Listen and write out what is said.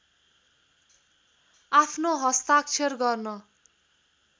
आफ्नो हस्ताक्षर गर्न